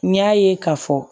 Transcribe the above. N y'a ye k'a fɔ